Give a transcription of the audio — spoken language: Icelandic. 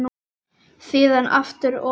Síðan aftur og aftur.